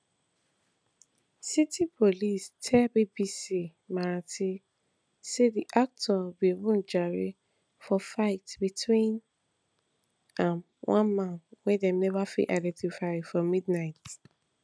city police tell bbc marathi say di actor bin wunjure for fight between am one man wey dem neva fit identify for midnight